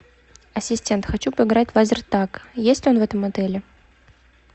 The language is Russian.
ассистент хочу поиграть в лазертаг есть ли он в этом отеле